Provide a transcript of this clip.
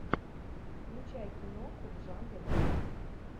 включай киноху в жанре драма